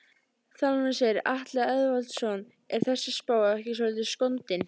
Þjálfarinn segir- Atli Eðvaldsson Er þessi spá ekki svolítið skondin?